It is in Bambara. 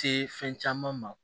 Se fɛn caman ma